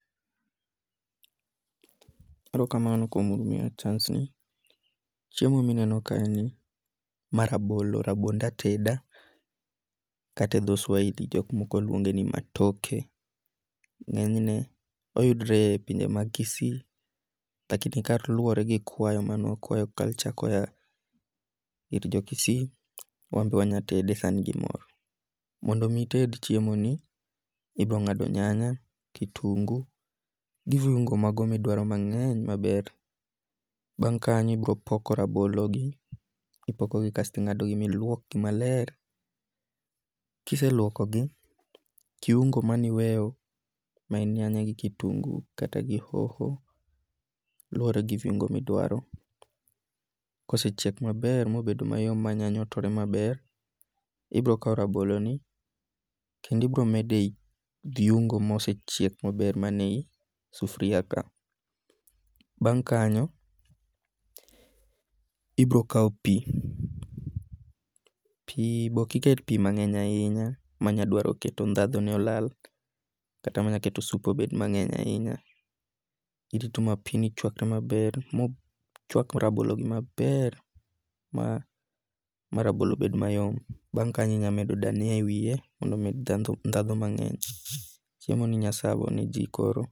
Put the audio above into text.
Chiemo mineno kae ni, ma rabolo, rabond ateda kata e dho swahili jok moko luonge ni matoke. Ng'enyne oyudore e pinje ma Kisii. Lakini ka luwore gi kwayo mane wakwayo culture koya kuom jo Kisii, wanbe sani wanya tede gi mor. Mondo mi ited chiemo ni, ibiro ng'ado nyanya, kitungu, gi vuingu ago midwaro mang'ey maber. Bang' kanyo ibiro poko rabologi. Ipoko gi kasto ing'ado gi miluok gi maler. Kiseluoko gi kiungu maniweyo mae en nyanya gi kitungu kata gi hoho luwore gi viungu midwaro. Kosechiek maber mobedo mayom ma nyanya otore maber, ibiro kaw rabolo ni kendo ibiro medo e yi viungu mosechiek maber mane yi sufuria ka. Bang' kanyo, ibiro kaw pi. Pi be ok iket pi mang'eny ahinya manyadwaro ket dhadho ne olal. Kata manya keto sup bed mang'eny ahinya. Irito ma pi ni chwakre maber mochwak rabolo gi maber ma rabolo bed mayom. Bang' aknyo inyamedo diania e wiye mondo omed dhadho mang'eny. Chiemo ni inyalo servo ne ji koro.